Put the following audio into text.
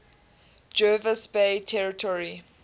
jervis bay territory